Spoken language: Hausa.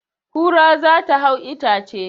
Kura za ta hau itace